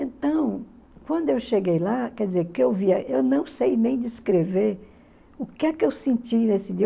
Então, quando eu cheguei lá, quer dizer, que eu via eu não sei nem descrever o que é que eu senti nesse dia.